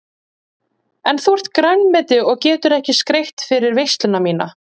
En þú ert grænmeti og getur ekki skreytt fyrir veisluna MÍNA.